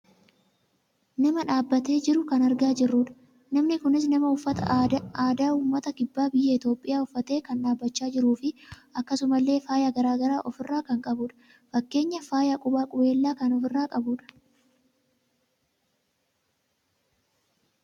Nama dhaabbatee jiru kan argaa jirruudha. Namni kunis nama uffata aadaa uummata kibba biyya Itoophiyaa uffatee kan dhaabbachaa jiruufi akkasuma illee faaya gara garaa of irraa kan qabuudha. Fakkeenyaaf faaya qubaa qubeellaa kan ofirraa qabuudha.